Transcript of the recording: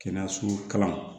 Kɛnɛyaso kalan